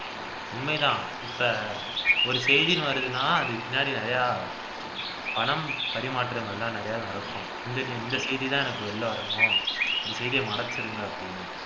உண்மைதான் இப்ப ஒரு செய்தின்னு வருதுன்னா அதுக்கு பின்னாடி பணம் பரிமாற்றங்கள்தான் நிறைய நடக்கும் இந் இந்த செய்திதான் எனக்கு வெளில வரணும் இந்த செய்திய மறைச்சிருங்க அப்படின்னு